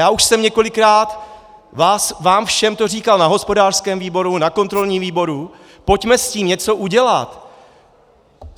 Já už jsem několikrát vám všem to říkal na hospodářském výboru, na kontrolním výboru, pojďme s tím něco udělat.